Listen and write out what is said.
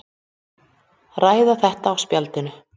Ræða þetta á spjallinu.